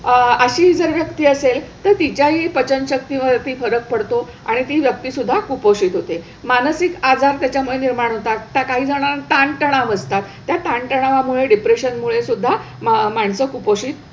अह अशी जर व्यक्ती असेल तर तिच्याही पचनशक्तीवरती फरक पडतो आणि ती व्यक्तीसुद्धा कुपोषित होते. मानसिक आजार त्याच्यामुळे निर्माण होतात. काही जणांना ताणतणाव असतात, त्या ताणतणावामुळे डिप्रेशन मुळे सुद्धा मा माणसं कुपोषित,